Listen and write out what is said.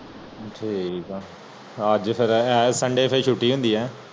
ਠੀਕ ਆ